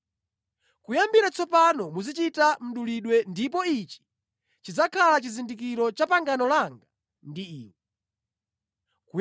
Kuyambira tsopano muzichita mdulidwe ndipo ichi chidzakhala chizindikiro cha pangano langa ndi iwe.